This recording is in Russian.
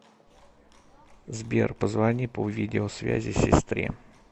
сбер позвони по видеосвязи сестре